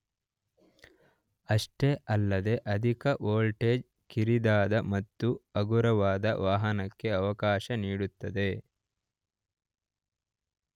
ಅಷ್ಟೇ ಅಲ್ಲದೇ ಅಧಿಕ ವೋಲ್ಟೇಜ್ ಕಿರಿದಾದ ಮತ್ತು ಹಗುರವಾದ ವಾಹಕಕ್ಕೆ ಅವಕಾಶ ನೀಡುತ್ತದೆ.